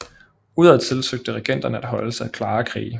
Udadtil søgte regenterne at holde sig klare af krige